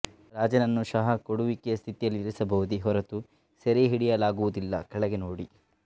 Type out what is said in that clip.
ರಾಜನನ್ನು ಶಹಾ ಕೊಡುವಿಕೆಯ ಸ್ಥಿತಿಯಲ್ಲಿ ಇರಿಸಬಹುದೇ ಹೊರತು ಸೆರೆಹಿಡಿಯಲಾಗುವುದಿಲ್ಲ ಕೆಳಗೆ ನೋಡಿ